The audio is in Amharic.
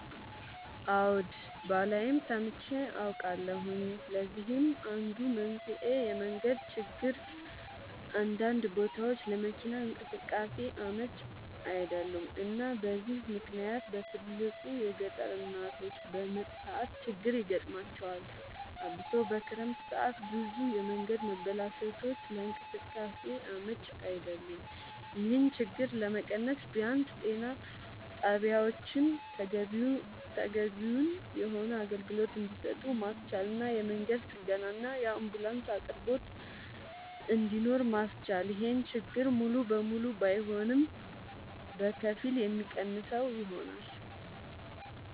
አወ ባላይም ሰምቼ አውቃለሁኝ ለዚህም አንዱ መንስኤ የመንገድ ችግር አንዳንድ ቦታወች ለመኪና እንቅስቃሴ አመች አይደሉም እና በዚህ ምክንያት በትልቁ የገጠር እናቶች በምጥ ሰዓት ችግር ይገጥማቸዋል አብሶ በክረምት ሰዓት ብዙ የመንገድ መበላሸቶች ለእንቅስቃሴ አመች አይደሉም ይሄን ችግር ለመቀነስ ቢያንስ ጤና ጣቢያወችን ተገቢውን የሆነ አገልግሎት እንድሰጡ ማስቻልና የመንገድ ጥገናና የአንቡላንስ አቅርቦት እንድኖር ማስቻል ይሄን ችግር ሙሉ ለሙሉ ባይሆንም በከፊል የሚቀንሰው ይሆናል